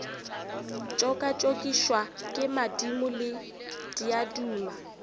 tšokatšokišwa ke madimo le diaduma